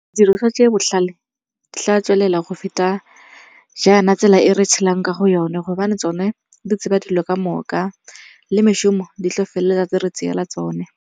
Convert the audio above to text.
Didiriswa tse di botlhale di tla tswelela go feta jaana tsela e re tshelang ka go yone gobane tsone di tseba dilo ka moka le mešomo di tla feleletsa di re tseela tsone.